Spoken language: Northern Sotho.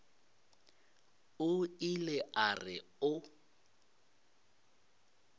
o ile a re o